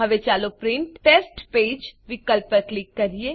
ચાલો print test page વિકલ્પ પર ક્લિક કરીએ